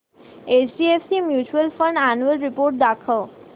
HDFC mutual fund annual report दाखव